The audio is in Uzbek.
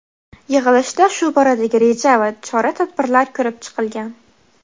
Yig‘ilishda shu boradagi reja va chora-tadbirlar ko‘rib chiqilgan.